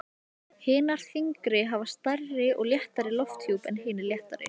Hinar þyngri hafa stærri og þéttari lofthjúp en hinar léttari.